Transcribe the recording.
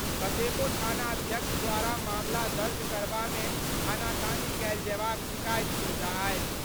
कतेको थानाध्यक्ष द्वारा मामला दर्ज करबामे आनाकानी कयल जयबाक शिकायत सोझा आयल।